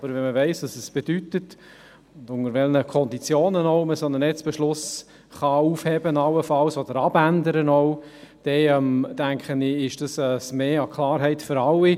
Wenn man aber weiss, was es bedeutet und unter welchen Konditionen man allenfalls einen solchen Netzbeschluss aufheben oder abändern kann, denke ich, ist das ein Mehr an Klarheit für alle.